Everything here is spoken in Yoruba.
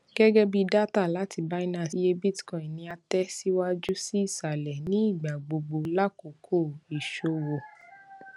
gẹgẹbi data lati binance iye bitcoin ni a tẹ siwaju si isalẹ ni igba gbogbo lakoko iṣowo